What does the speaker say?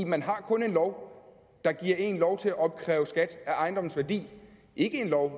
man har kun en lov der giver en lov til at opkræve skat af ejendomsværdien ikke en lov